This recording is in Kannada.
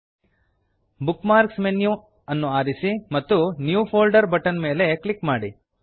bookmarks menu bookmarks menu ವನ್ನು ಆರಿಸಿ ಮತ್ತು new folder new folder button ಮೇಲೆ ಕ್ಲಿಕ್ ಮಾಡಿ